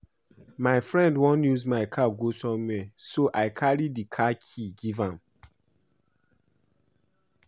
My friend wan use my car go somewhere so I carry the car key give am